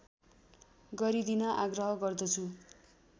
गरिदिन आग्रह गर्दछु